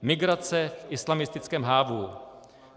Migrace v islamistickém hávu.